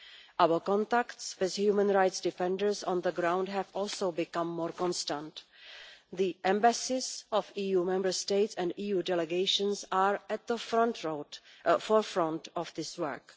Our contacts with human rights defenders on the ground have also become more constant. The embassies of EU Member States and EU delegations are at the forefront of this work.